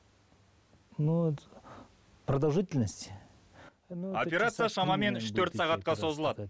продолжительность операция шамамен үш төрт сағатқа созылады